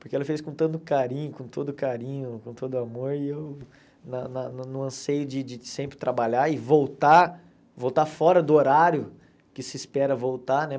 Porque ela fez com tanto carinho, com todo carinho, com todo amor, e eu na na no anseio de de sempre trabalhar e voltar, voltar fora do horário que se espera voltar, né?